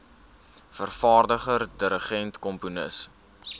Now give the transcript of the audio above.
vervaardiger dirigent komponis